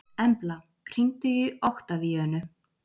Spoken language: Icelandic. Embla, hringdu í Oktavíönu.